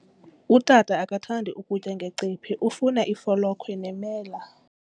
Utata akathandi ukutya ngecephe, ufuna ifolokhwe nemela.